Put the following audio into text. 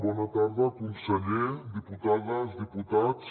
bona tarda conseller diputades diputats